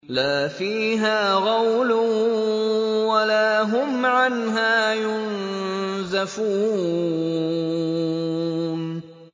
لَا فِيهَا غَوْلٌ وَلَا هُمْ عَنْهَا يُنزَفُونَ